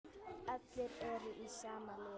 Allir eru í sama liði.